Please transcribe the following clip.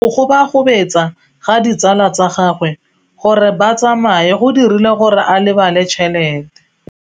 Go gobagobetsa ga ditsala tsa gagwe, gore ba tsamaye go dirile gore a lebale tšhelete.